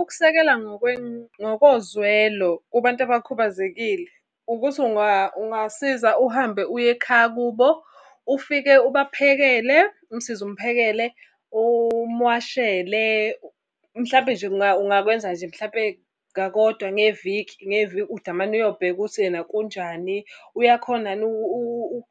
Ukusekela ngokozwelo kubantu abakhubazekile, ukuthi ungasiza uhambe uye ekhaya kubo, ufike ubaphekele, umsize umphekele, umwashele. Mhlampe nje ungakwenza nje mhlampe kakodwa ngeviki, ngeviki udamane uyobheka ukuthi ena kunjani. Uyakhona yini